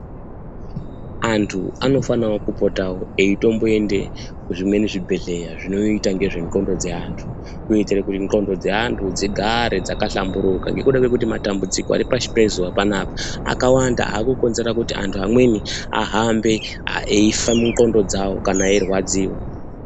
Antu anofanawo kupota eitomboende kuzvimweni zvibhedhleya zvinoite ngezvendxondo dzeantu kuitire kuti ndxondo dzeantu dzigare dzakahlamburika ngekuda kwekuti matambudziko ari pashi pezuwa panapa akawanda akukonzera kuti antu amweni ahambe eifa mundxondo dzawo kana eirwadziwa.